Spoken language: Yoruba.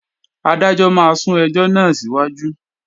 Adájọ́ máa sún ẹjọ́ náà síwájú